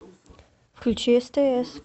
включи стс